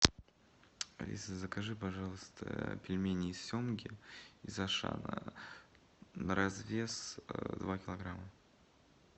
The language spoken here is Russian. алиса закажи пожалуйста пельмени из семги из ашана на развес два килограмма